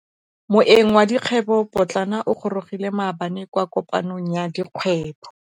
Moêng wa dikgwêbô pôtlana o gorogile maabane kwa kopanong ya dikgwêbô.